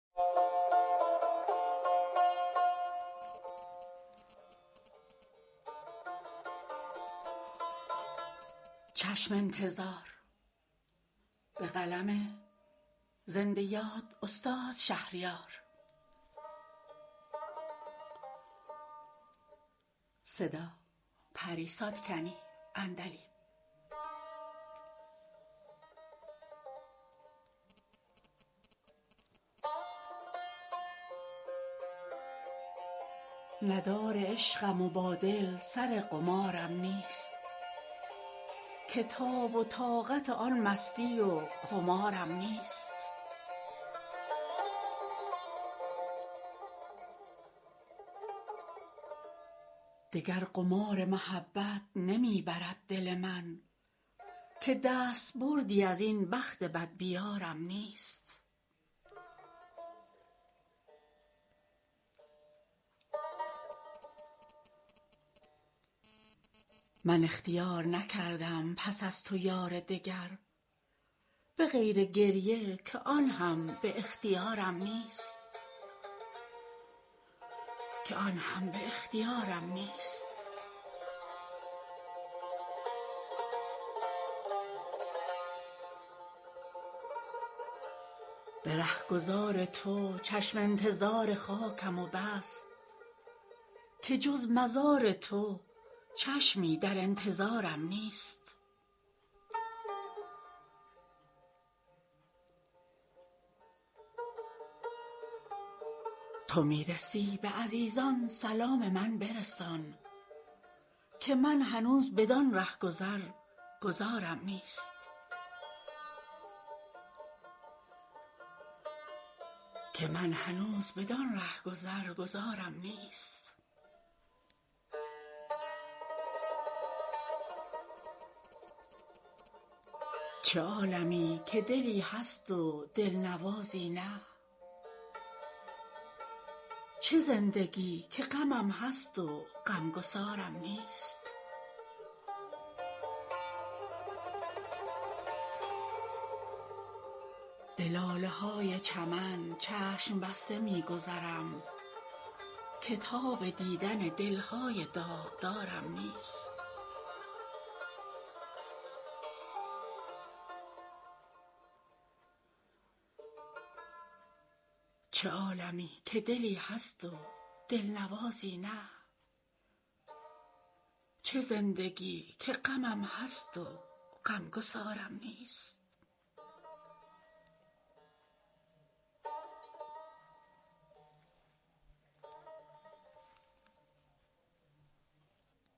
ندار عشقم و با دل سر قمارم نیست که تاب و طاقت آن مستی و خمارم نیست دگر قمار محبت نمی برد دل من که دست بردی از این بخت بدبیارم نیست حساب جاری من گو ببند باجه بانک که من به بودجه عمر اعتبارم نیست من اختیار نکردم پس از تو یار دگر به غیر گریه که آن هم به اختیارم نیست جهان فریب دهد آدمی به نقش و نگار مرا چه نقش فریبنده چون نگارم نیست به رهگذار تو چشم انتظار خاکم و بس که جز مزار تو چشمی در انتظارم نیست تو می رسی به عزیزان سلام من برسان که من هنوز بدان رهگذر گذارم نیست قطار قافله همرهان مرا بگذشت که من بلیت و گذرنامه قطارم نیست چه عالمی که دلی هست و دلنوازی نه چه زندگی که غمم هست و غمگسارم نیست به لاله های چمن چشم بسته می گذرم که تاب دیدن دل های داغدارم نیست غزال من تو چه شاخ نبات بودی حیف که من چو خواجه غزل های شاهکارم نیست ز نام بردن خود نیز شرمم آید و ننگ که شهریارم و آن شعر شهریارم نیست